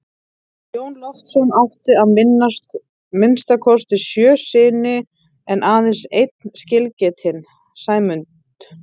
Jón Loftsson átti að minnsta kosti sjö syni en aðeins einn skilgetinn, Sæmund.